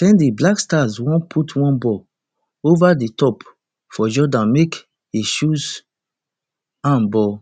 ten di blackstars wan put one ball ova di top for jordan make he chase am but